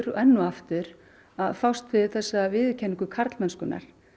enn og aftur að fást við þessa viðurkenningu karlmennskunnar